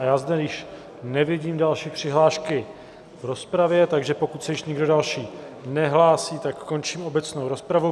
A já zde již nevidím další přihlášky v rozpravě, takže pokud se již nikdo další nehlásí, tak končím obecnou rozpravu.